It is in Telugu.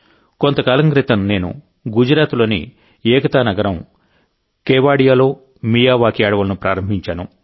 కొంతకాలం క్రితం నేను గుజరాత్లోని ఏకతా నగరం కేవడియాలో మియావాకీ అడవులను ప్రారంభించాను